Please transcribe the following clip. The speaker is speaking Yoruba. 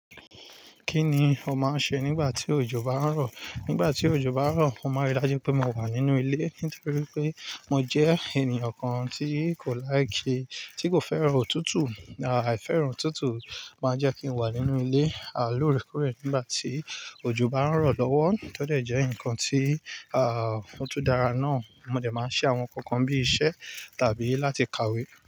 Kí ni o máa ń ṣe nígbà tí òjò bá ń rọ̀? Nígbà tí òjò bá ń rọ̀, mo máa rí dájú pé mo wà nínú ilé nítorí pé mo jẹ́ ènìyàn kan tí kò like ki, tí kò fẹ́ràn òtútù. À, ài fẹ́ràn òtútù máa ń jẹ́ kí n wà nínú ilé, à lóore kóòrè nígbà tí òjò bá ń rọ̀ lọ́wọ́. Tí ó dẹ̀ jẹ́ ǹkan tí, ah, ó tun dára náà, mọ dé máa ń ṣe àwọn ǹkan kan bíi iṣẹ́ tàbí láti kàwé.